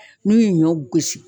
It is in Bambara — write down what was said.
N'u ye ɲɔ gosi